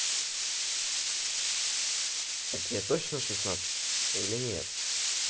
так тебе точно шестнадцать или нет